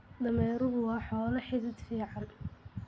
Dameeruhu waa xoolo xidhid fiican.